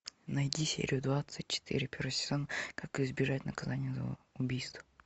найди серию двадцать четыре первый сезон как избежать наказания за убийство